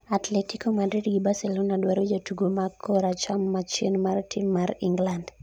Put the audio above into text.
Atletico Madrid gi Barcelona dwaro jatugo ma koracham machien mar tim mar England